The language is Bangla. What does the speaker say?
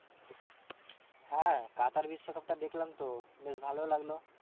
হ্যাঁ কাতার বিশ্বকাপটা দেখলাম তো বেশ ভালোই লাগলো।